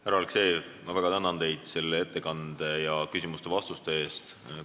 Härra Aleksejev, ma väga tänan teid ettekande ja küsimuste-vastuste eest!